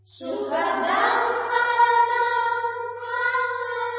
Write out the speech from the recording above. സുഖദാം വരദാം മാതരം